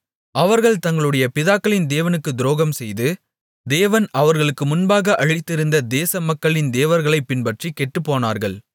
அவர்கள் தங்களுடைய பிதாக்களின் தேவனுக்கு துரோகம்செய்து தேவன் அவர்களுக்கு முன்பாக அழித்திருந்த தேச மக்களின் தேவர்களைப் பின்பற்றி கெட்டுப்போனார்கள்